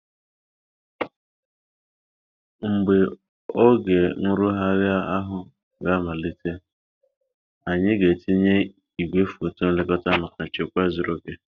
Mgbe oge nrụgharị ahụ ga-amalite, anyị ga-etinye igwe foto nlekota maka nchekwa zuru oke.